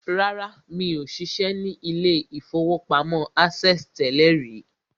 Rárá, mi ò ṣiṣẹ́ ní ilé-ìfowópamọ́ access tẹ́lẹ̀ rí